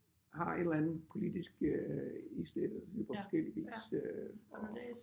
Har et eller andet politisk øh islæt eller sådan på forskellig vis og